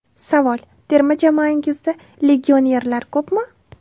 Savol: Terma jamoangizda legionerlar ko‘pmi?